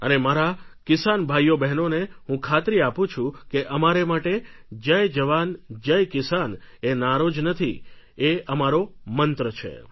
અને મારા કિસાન ભાઈઓબહેનોને હું ખાતરી આપું છું કે અમારે માટે જય જવાન જય કિસાન એ નારો જ નથી એ અમારો મંત્ર છે